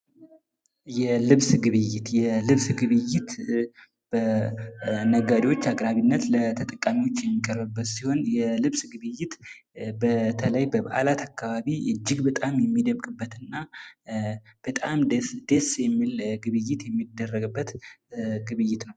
የልብስ ግብይት፦ የልብስ ግብይት በነጋዴዎች አቅራቤነት ለተጠቃሚዎች የሚቀርብበት ሲሆን የልብስ ግብይት በተለይ በበአላት አካባቢ ኢጅግ በጣም የሚደምቅ ግብይት ነው።